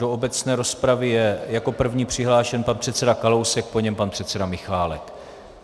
Do obecné rozpravy je jako první přihlášen pan předseda Kalousek, po něm pan předseda Michálek.